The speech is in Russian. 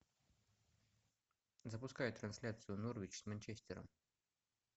запускай трансляцию норвич с манчестером